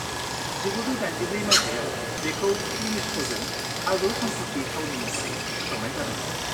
1984 मायथाइयाव, बेखौ इउनेस्क'जों आजौसम्फथि थावनि महरै फोसावनाय जादोंमोन।